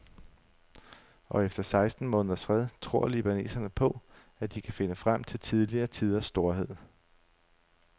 Og efter seksten måneders fred tror libaneserne på, at de kan finde frem til tidligere tiders storhed.